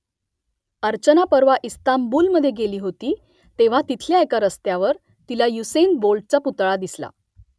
अर्चना परवा इस्तांबूलमध्ये गेली होती तेव्हा तिथल्या एका रस्त्यावर तिला युसेन बोल्टचा पुतळा दिसला